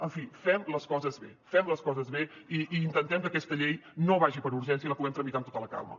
en fi fem les coses bé fem les coses bé i intentem que aquesta llei no vagi per urgència i la puguem tramitar amb tota la calma